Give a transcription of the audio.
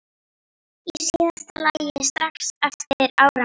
Í síðasta lagi strax eftir áramót.